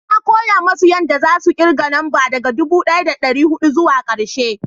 na koya musu yanda za su kirga namba daga dubu daya da dari hudu zuwa karshe